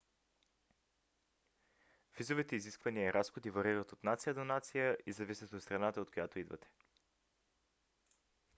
визовите изисквания и разходи варират от нация до нация и зависят от страната от която идвате